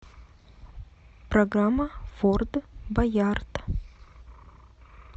программа форт боярд